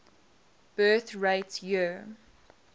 birth rate year